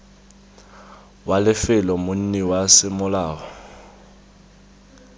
wa lefelo monni wa semolao